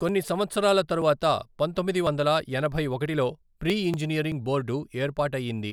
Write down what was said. కొన్ని సంవత్సరాల తరువాత పంతొమ్మిది వందల ఎనభై ఒకటిలో ప్రీ ఇంజనీరింగ్ బోర్డు ఏర్పాటయ్యింది.